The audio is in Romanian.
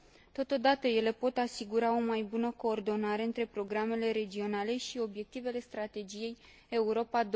Totodată, ele pot asigura o mai bună coordonare între programele regionale și obiectivele strategiei Europa